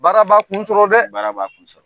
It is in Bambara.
Baraba kun sɔrɔ dɛ , baraba kun sɔrɔ.